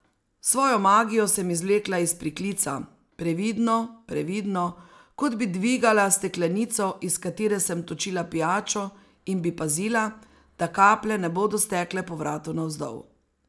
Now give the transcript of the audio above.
Svojo magijo sem izvlekla iz priklica, previdno, previdno, kot bi dvigala steklenico, iz katere sem točila pijačo, in bi pazila, da kaplje ne bodo stekle po vratu navzdol.